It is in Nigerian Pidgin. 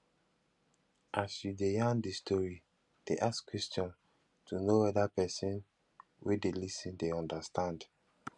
as you de yarn di story de ask questions to know whether persin wey de lis ten de understand